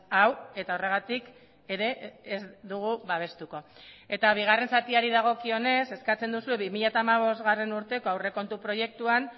hau eta horregatik ere ez dugu babestuko eta bigarren zatiari dagokionez eskatzen duzue bi mila hamabost urteko aurrekontu proiektuan